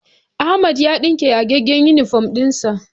Ahmad yana ɗinke yagaggen inifom ɗin sa